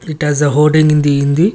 it has a in the hindi.